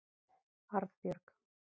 Arnbjörg